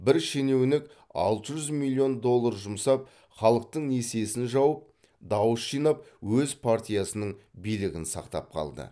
бір шенеунік алты жүз миллион доллар жұмсап халықтың несиесін жауып дауыс жинап өз партиясының билігін сақтап қалды